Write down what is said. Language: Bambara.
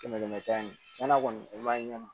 Kɛmɛ kɛmɛ sara ni tiɲɛna kɔni o b'a ɲɛnabɔ